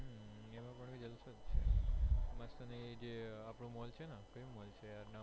અને જે આપનો mall છે કયો mall છે યાર